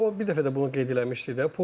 Özü də o bir dəfə də bunu qeyd eləmişdi də.